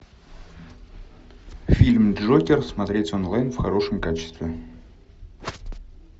фильм джокер смотреть онлайн в хорошем качестве